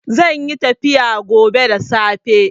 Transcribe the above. Zanyi tafiya gobe da safe